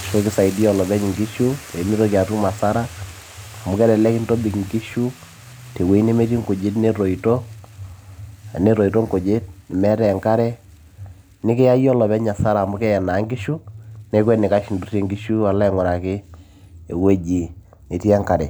ashu kisaidiyia olopeny inkishu peemitoki atum asara amu kelelek intobik inkishu tewueji nemetii inkujit netoito, tenetoito inkujit nemeetay enkare nikiya yie olopeng asara amu keye naa inkishu neeku enikash indurrie alo aing'uraki ewueji netii enkare.